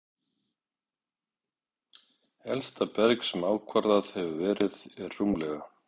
Elsta berg, sem ákvarðað hefur verið, er rúmlega